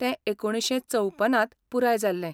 तें एकुणशे चौपनांत पुराय जाल्लें.